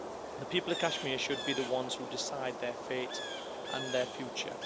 The people of Kashmir should be the ones who decide their fate and their future.